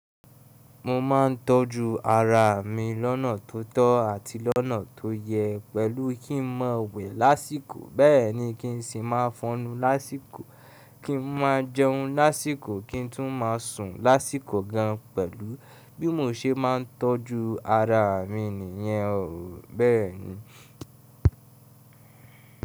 Mo ma ńtọ́jú ara mi lọ́nà tó tọ́ àti lọ́nà tó yẹ pẹ̀lú kí ń ma wẹ̀ lásìkò, bẹ́ẹ̀ní kin sì máa fọnu lásìkò, kin máa jẹun lásìkò, kí ń tún máa sùn lásìkò gan. Pẹ̀lú bí mo ṣe máa ń tọ́jú ara mi nìyẹn o, bẹ́ẹ̀ni.